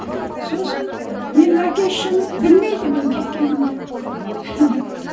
сосын менің әке шешем білмейді менің кеткенімді